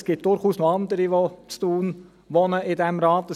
Es gibt durchaus noch andere in diesem Rat, die in Thun wohnen.